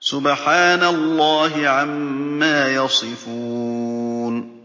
سُبْحَانَ اللَّهِ عَمَّا يَصِفُونَ